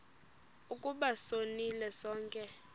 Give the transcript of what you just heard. ukuba sonile sonke